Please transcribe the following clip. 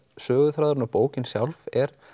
söguþráður og bókin sjálf er